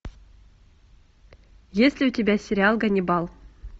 есть ли у тебя сериал ганнибал